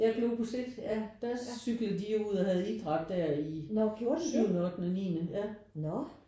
Ja Globus 1 ja der cyklede de ud og havde idræt der i syvende ottende niende ja